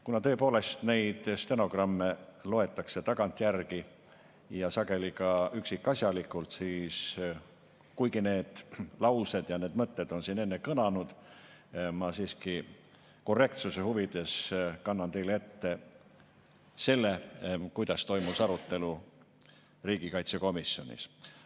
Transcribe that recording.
Kuna tõepoolest neid stenogramme loetakse tagantjärgi ja sageli ka üksikasjalikult, siis kuigi need laused ja mõtted on siin enne kõlanud, ma siiski korrektsuse huvides kannan teile ette selle, kuidas toimus arutelu riigikaitsekomisjonis.